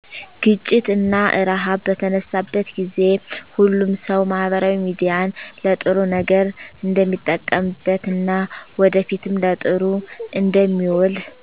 ግጪት እና እርሃብ በተነሳበት ጊዜ። ሁሉም ሰው ማህበራዊ ሚዲያን ለጥሩ ነገር እንደሚጠቀምበት እና ወደፊትም ለጥሩ እንደሚውል